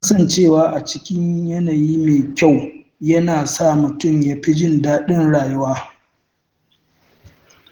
Kasancewa a cikin yanayi mai kyau yana sa mutum ya fi jin daɗin rayuwa.